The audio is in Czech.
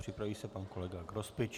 Připraví se pan kolega Grospič.